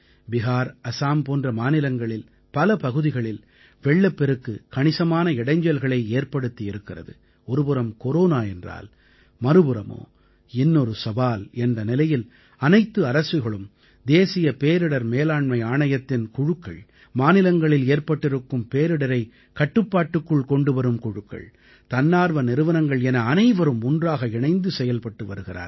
பிஹார் அஸாம் போன்ற மாநிலங்களில் பல பகுதிகளில் வெள்ளப்பெருக்கு கணிசமான இடைஞ்சல்களை ஏற்படுத்தி இருக்கிறது ஒரு புறம் கொரோனா என்றால் மறுபுறமோ இன்னொரு சவால் என்ற நிலையில் அனைத்து அரசுகளும் தேசிய பேரிடர் மேலாண்மை ஆணையத்தின் குழுக்கள் மாநிலங்களில் ஏற்பட்டிருக்கும் பேரிடரைக் கட்டுப்பாட்டுக்குள் கொண்டுவரும் குழுக்கள் தன்னார்வ நிறுவனங்கள் என அனைவரும் ஒன்றாக இணைந்து செயல்பட்டு வருகிறார்கள்